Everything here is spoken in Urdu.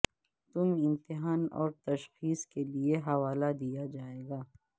تم امتحان اور تشخیص کے لئے حوالہ دیا جائے گا